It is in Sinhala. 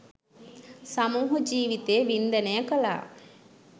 සමූහ ජීවිතය වින්දනය කළා.